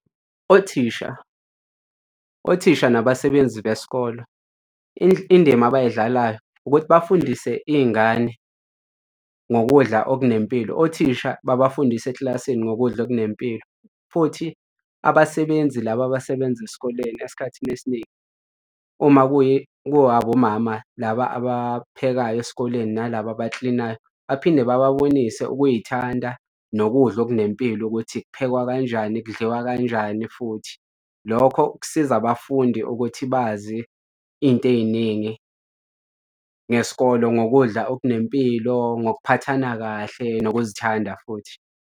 Othisha, othisha nabasebenzi besikolo indima abayidlalayo ukuthi bafundise iy'ngane ngokudla okunempilo, othisha babafundise ekilasini ngokudla okunempilo futhi abasebenzi labo abasebenza esikoleni esikhathini esiningi uma ku-abomama laba abaphekayo esikoleni nalaba abaklinayo baphinde bababonise ukuy'thanda nokudla okunempilo ukuthi kuphekwa kanjani, kudliwa kanjani futhi. Lokho kusiza abafundi ukuthi bazi iy'nto ey'ningi ngesikolo ngokudla okunempilo ngokuphathana kahle nokuzithanda futhi.